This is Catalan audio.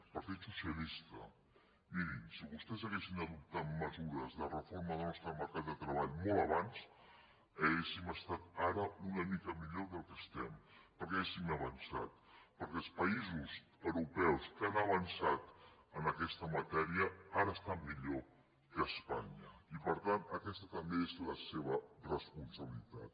partit socialista mirin si vostès haguessin adoptat mesures de reforma del nostre mercat de treball molt abans hauríem estat ara una mica millor del que estem perquè hauríem avançat perquè els països europeus que han avançat en aquesta matèria ara estan millor que espanya i per tant aquesta també és la seva responsabilitat